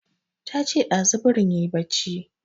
Ta ce ɗazu birin yayi barci